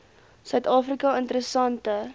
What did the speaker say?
suid afrika interessante